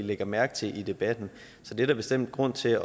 lægger mærke til i debatten så det er der bestemt grund til